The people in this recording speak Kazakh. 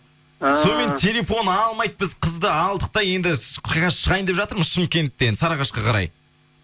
ыыы сонымен телефон алмайды біз қызды алдық та енді шығайын деп жатырмыз шымкенттен сарыағашқа қарай